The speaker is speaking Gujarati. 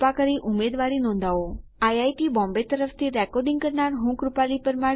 આઈઆઈટી બોમ્બે તરફથી સ્પોકન ટ્યુટોરીયલ પ્રોજેક્ટ માટે ભાષાંતર કરનાર હું જ્યોતી સોલંકી વિદાય લઉં છું